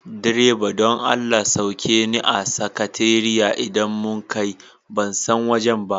Direba don Allah sauke ni a sakatariya idan mun kai, ban san wajen ba.